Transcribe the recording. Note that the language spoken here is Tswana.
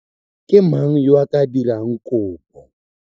Ke mang yo a ka dirang kopo?